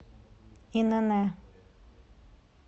инн